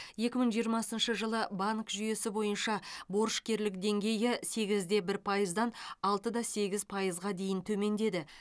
екі мың жиырмасыншы жылы банк жүйесі бойынша борышкерлік деңгейі сегіз де бір пайыздан алты да сегіз пайызға дейін төмендеді